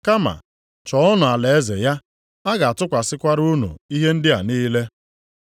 Kama chọọnụ alaeze ya, a ga-atụkwasịkwara unu ihe ndị a niile.